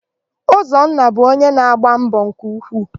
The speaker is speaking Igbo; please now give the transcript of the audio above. Ụzọnna bụ ọnye na-agba mbọ nke ukwuu.